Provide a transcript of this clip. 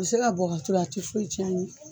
U bɛ se ka bɔ k'a turu a tɛ foyi tiɲɛ a ye.